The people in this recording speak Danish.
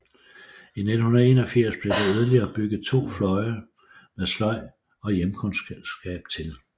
I 1981 blev der yderligere bygget to fløje med sløjd og hjemkundskab til